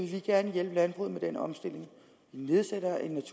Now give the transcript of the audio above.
kan læse